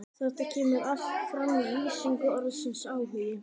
Þetta kemur allt fram í lýsingu orðsins áhugi